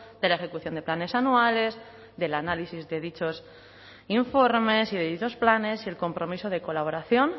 de la ejecución de planes anuales del análisis de dichos informes y de dichos planes y el compromiso de colaboración